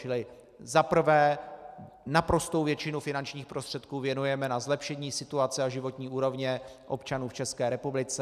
Čili za prvé, naprostou většinu finančních prostředků věnujeme na zlepšení situace a životní úrovně občanů v České republice.